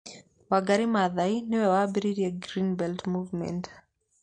Wangari Maathai nĩ we wambĩrĩirie Green Belt Movement.